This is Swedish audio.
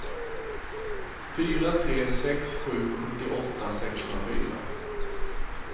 fyra tre sex sju sjuttioåtta sexhundrafyra